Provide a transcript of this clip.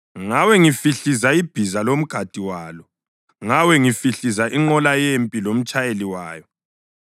ngawe ngihlifiza ibhiza lomgadi walo, ngawe ngihlifiza inqola yempi lomtshayeli wayo,